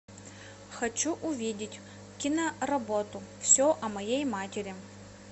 хочу увидеть киноработу все о моей матери